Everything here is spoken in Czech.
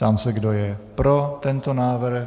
Ptám se, kdo je pro tento návrh.